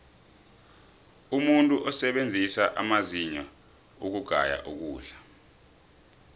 umuntu usebenzisa amazinyo ukugaya ukudla